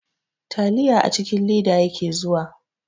Taliya a cikin leda yake zuwa.